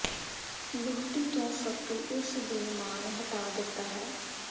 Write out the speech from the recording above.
ਵਹੁਟੀ ਤੋਂ ਫਤੂ ਉਸ ਦੀ ਮਾਂ ਨੇ ਹਟਾ ਦਿੱਤਾ ਹੈ